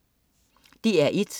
DR1: